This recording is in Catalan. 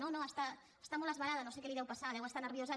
no no està molt esverada no sé què li deu passar deu estar nerviosa